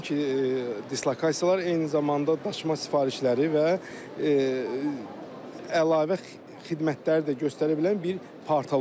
Nəinki dislokasiyalar, eyni zamanda daşıma sifarişləri və əlavə xidmətləri də göstərə bilən bir portal olacaq.